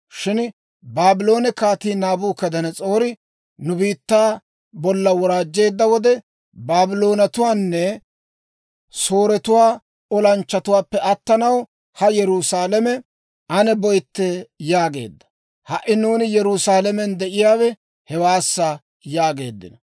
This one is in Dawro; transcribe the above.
Shin Baabloone Kaatii Naabukadanas'oori nu biittaa bolla woraajjeedda wode, ‹Baabloonetuwaanne Sooretuwaa olanchchatuwaappe attanaw, haa Yerusaalame ane boytte› yaageedda. Ha"i nuuni Yerusaalamen de'iyaawe hewaassa» yaageeddino.